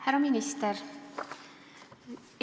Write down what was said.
Härra minister!